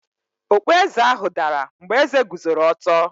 Okpueze ahụ dara mgbe eze guzoro ọtọ.